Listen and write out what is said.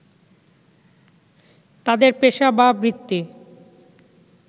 তাদের পেশা বা বৃত্তি